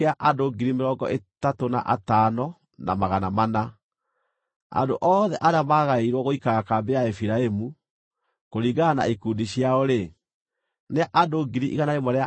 Andũ othe arĩa maagaĩirwo gũikara kambĩ ya Efiraimu, kũringana na ikundi ciao-rĩ, nĩ andũ 108,100. Acio nĩo marĩthiiaga marĩ a gatatũ.